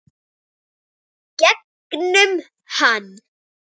Gegnum hann.